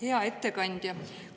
Hea ettekandja!